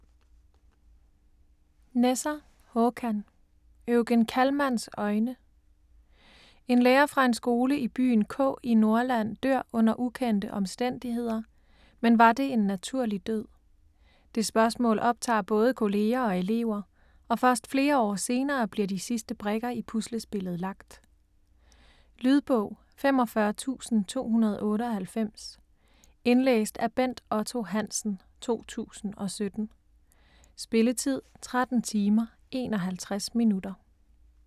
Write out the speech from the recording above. Nesser, Håkan: Eugen Kallmanns øjne En lærer fra en skole i byen K i Norrland dør under ukendte omstændigheder, men var det en naturlig død? Det spørgsmål optager både kolleger og elever, og først flere år senere bliver de sidste brikker i puslespillet lagt. Lydbog 45298 Indlæst af Bent Otto Hansen, 2017. Spilletid: 13 timer, 51 minutter.